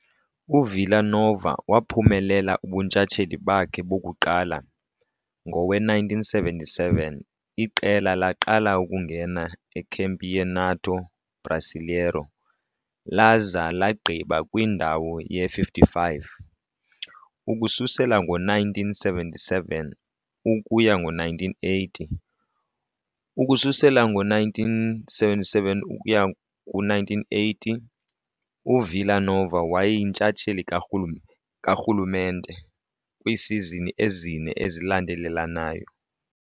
UVila Nova waphumelela ubuntshatsheli bakhe bokuqala Ngowe-1977 iqela laqala ukungena eCampeonato Brasileiro laza lagqiba kwindawo ye-55. Ukususela ngo-1977 ukuya ku-1980, Ukususela ngo-1977 ukuya ku-1980, UVila Nova wayeyintshatsheli karhulumente kwiisizini ezine ezilandelelanayo.